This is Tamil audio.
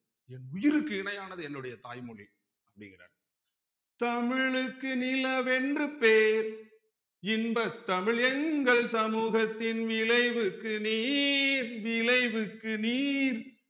என் உயிருக்கு இணையானது என்னுடைய தாய்மொழி அப்டிங்கறார் தமிழுக்கு நிலவென்று பேர் இன்பத் தமிழ் எங்கள் சமூகத்தின் விளைவுக்கு நீர் விளைவுக்கு நீர்